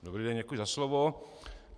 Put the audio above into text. Dobrý den, děkuji za slovo.